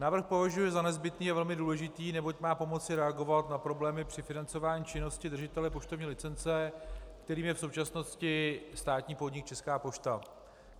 Návrh považuji za nezbytný, je velmi důležitý, neboť má pomoci reagovat na problémy při financování činnosti držitele poštovní licence, kterým je v současnosti státní podnik Česká pošta.